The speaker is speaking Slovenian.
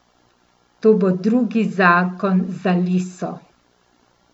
To bo drugi zakon za Liso.